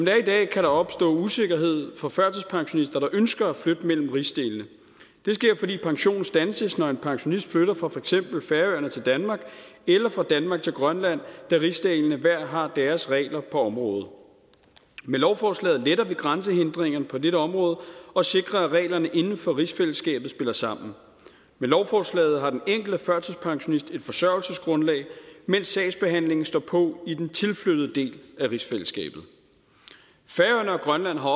er i dag kan der opstå usikkerhed for førtidspensionister der ønsker at flytte mellem rigsdelene det sker fordi pensionen standses når en pensionist flytter fra for eksempel færøerne til danmark eller fra danmark til grønland da rigsdelene hver har deres regler på området med lovforslaget letter vi grænsehindringen på dette område og sikrer at reglerne inden for rigsfællesskabet spiller sammen med lovforslaget har den enkelte førtidspensionist et forsørgelsesgrundlag mens sagsbehandlingen står på i den tilflyttede del af rigsfællesskabet færøerne og grønland har